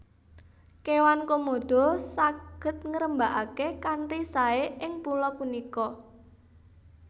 Kéwan Komodo saged ngrembaka kanthi saé ing pulo punika